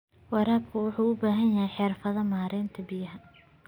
Waraabka wuxuu u baahan yahay xirfadaha maaraynta biyaha.